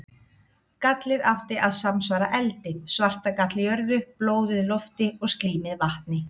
Gallið átti að samsvara eldi, svartagall jörðu, blóðið lofti og slímið vatni.